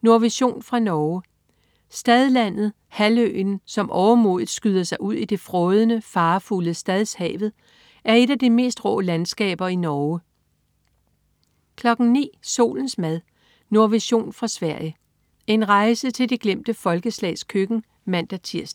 Nordvision fra Norge. Stadlandet, halvøen som overmodigt skyder sig ud i det frådende, farefulde Stadshavet, er et af de mest rå landskaber i Norge 09.00 Solens mad. Nordvision fra Sverige. En rejse til de glemte folkeslags køkken (man-tirs)